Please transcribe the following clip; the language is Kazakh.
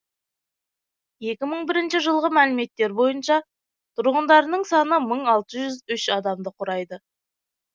екі мың бірінші жылғы мәліметтер бойынша тұрғындарының саны мың алты жүз үш адамды құрайды